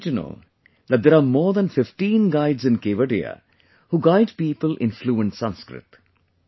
You will be happy to know that there are more than 15 guides in Kevadiya, who guide people in fluent Sanskrit